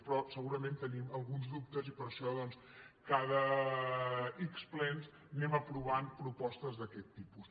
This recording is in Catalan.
però segurament tenim alguns dubtes i per això cada ics plens anem aprovant propostes d’aquest tipus